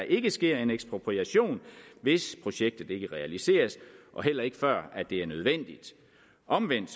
ikke sker en ekspropriation hvis projektet ikke realiseres og heller ikke før det er nødvendigt omvendt